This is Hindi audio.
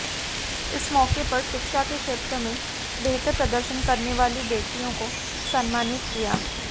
इस मौके पर शिक्षा के क्षेत्र में बेहतर प्रदर्शन करने वाली बेटियों को सम्मानित किया